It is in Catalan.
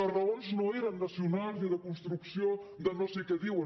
les raons no eren nacionals ni de construcció de no sé què diuen